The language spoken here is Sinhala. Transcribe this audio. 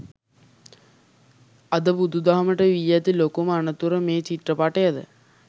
අද බුදුදහමට වී ඇති ලොකුම අනතුර මේ චිත්‍රපටයද?